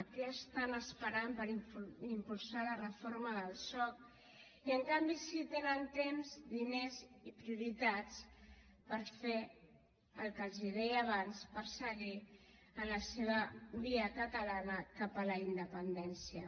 què estan esperant per impulsar la reforma del soc i en canvi sí tenen temps diners i prioritats per fer el que els deia abans per seguir la seva via catalana cap a la independència